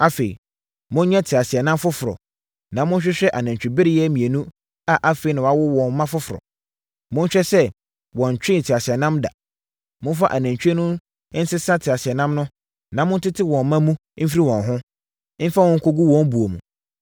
“Afei, monyɛ teaseɛnam foforɔ, na monhwehwɛ anantwibereɛ mmienu a afei na wɔawo mma foforɔ. Monhwɛ sɛ wɔntwee teaseɛnam da. Momfa anantwie no nsesa teaseɛnam no na montete wɔn mma no mfiri wɔn ho, mfa wɔn nkɔgu wɔn buo mu.